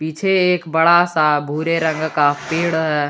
पीछे एक बड़ा सा भूरे रंग का पेड़ है।